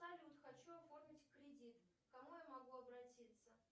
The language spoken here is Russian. салют хочу оформить кредит к кому я могу обратиться